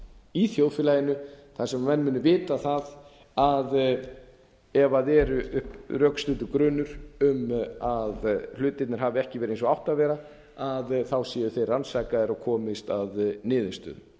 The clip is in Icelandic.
í þjóðfélaginu þar sem menn munu vita það að ef uppi er rökstuddur grunur um að hlutirnir hafi ekki verið eins og þeir áttu að vera séu þeir rannsakaðir og komist að niðurstöðu